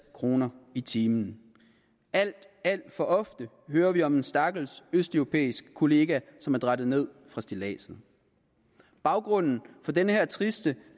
kroner i timen alt alt for ofte hører vi om en stakkels østeuropæisk kollega som er drættet ned fra stilladset baggrunden for denne triste